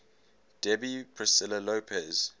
debbie priscilla lopez